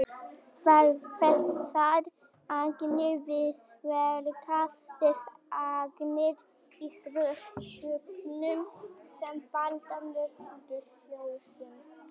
þessar agnir víxlverka við agnir í lofthjúpnum sem valda norðurljósum